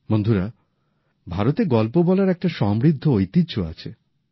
বন্ধুরা ভারতে গল্প বলার একটি সমৃদ্ধ ঐতিহ্য আছে